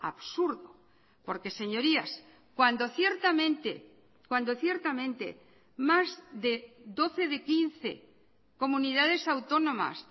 absurdo porque señorías cuando ciertamente cuando ciertamente más de doce de quince comunidades autónomas